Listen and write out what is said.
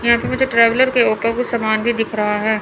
यहां तो मुझे ट्रेवलर के ऊपर कुछ सामान भी दिख रहा है।